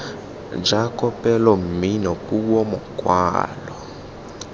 ja kopelo mmino puo mokwalo